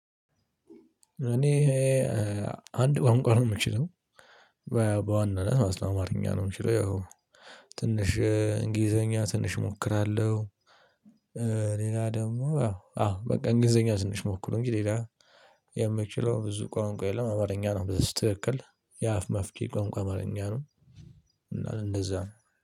እኔ አንድ ቋንቋ ነው የምችለው በዋናነት ማለት አማርኛ ነው የምችለው። ያው ትንሽ እንግሊዘኛ ትንሽ እሞክራለሁ። ሌላ ደግሞ አዎ አዎ በቃ እንግሊዘኛ ትንሽ ሞክሩ እንጂ ሌላ የምችለው ብዙ ቋንቋ የለም። አማርኛ ነው በስትክክል የአፍ መፍቻዬ ቋንቋ አማርኛ ነው። እና እንደዛ ነው